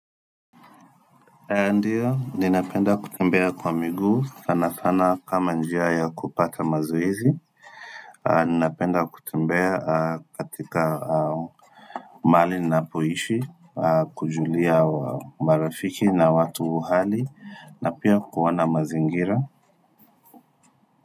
Ndiyo, ninapenda kutembea kwa miguu, sana sana kama njia ya kupata mazoezi Ninapenda kutembea katika mahali ninapoishi, kujulia marafiki na watu hali na pia kuona mazingira.